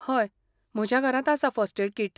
हय, म्हज्या घरांत आसा फर्स्ट एड कीट.